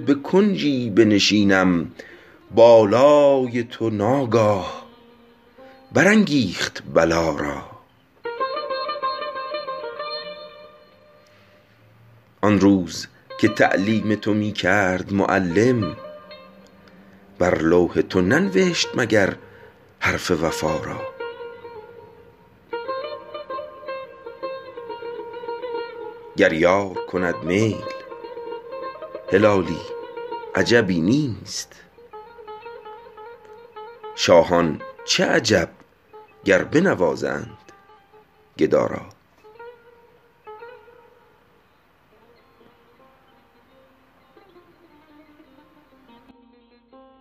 بکنجی بنشینم بالای تو ناگاه بر انگیخت بلا را آن روز که تعلیم تو می کرد معلم بر لوح تو ننوشت مگر حرف وفا را گر یار کند میل هلالی عجبی نیست شاهان چه عجب گر بنوازند گدا را